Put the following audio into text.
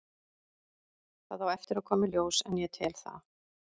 Það á eftir að koma í ljós en ég tel það.